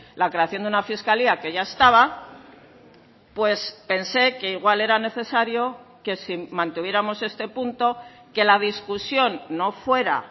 la creación de una fiscalía que ya estaba pues pensé que igual era necesario que si mantuviéramos este punto que la discusión no fuera